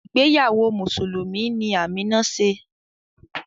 Ìgbéyàwó Mùsùlùmí ni Amina ṣe